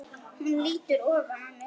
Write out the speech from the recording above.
Hún lýtur ofan að mér.